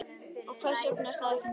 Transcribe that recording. Og hvers vegna var það ekki nóg?